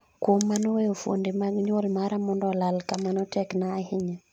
kuom mano weyo fuonde mag nyuol mara mondo olal kamano tek na ahinya